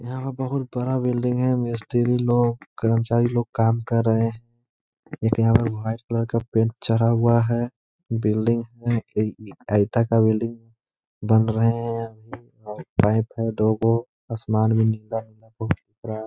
यहाँ बहोत बड़ा बिलडिंग है। यहाँ पर मिस्तरी लोग कर्मचारी लोग काम कर रहे हैं। एक यहाँ पे वाइट कलर का पेंट चढ़ा हुआ है। बिलडिंग है। का बिलडिंग है बन रहे हैं। वाइट है दो को आसमान भी नीला है बहोत बड़ा।